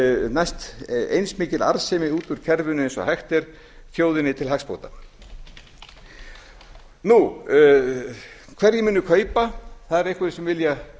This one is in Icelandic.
næst eins mikil arðsemi út úr kerfinu eins og hægt er kerfinu til hagsbóta hverjir munu kaupa það eru einhverjir sem vilja